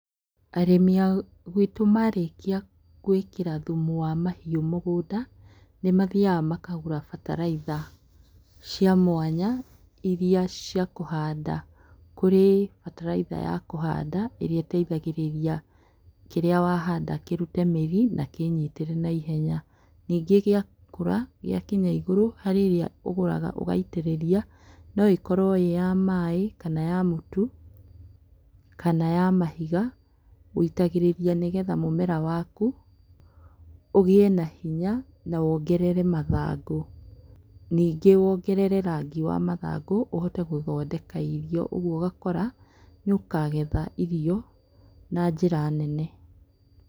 Arĩmĩ a gwitũ marĩkia gwĩkĩra thumu wa mahiũ mũgũnda, nĩ mathiaga makagũra bataraitha cia mwanya iria cia kũhanda. Kũrĩ bataraitha ya kũhanda ĩrĩa ĩteithagĩria kĩrĩa wahanda kĩrute mĩri na kĩnyitĩre na naihenya, ningĩ gĩakũra gĩa kinya igũrũ harĩ ĩrĩa ũgũraga ũgaitĩrĩria no ĩkorwo ĩĩ ya maĩ kana ya mũtu kana ya mahiga, wũitagĩrĩria nĩgetha mũmera waku ũgĩe na hinya na wongerere mathangũ, ningĩ wongerere rangi wa mathangũ ũhote gũthondeka irio ũguo ũgakora nĩ ũkagetha irio na njĩra nene.